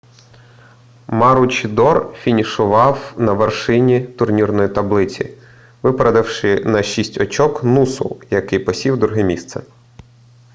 маручідор фінішував на вершині турнірної таблиці випередивши на шість очок нусу який посів друге місце